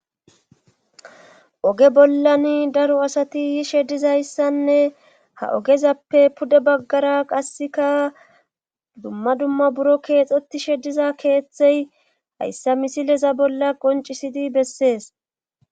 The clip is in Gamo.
Oge bolani daro asati yishe dizayssanne ogezappe pude bagara qassikka dumma dumma buro keexetishe diza keeththay hayssa misileza bolla qoncccisidi besees.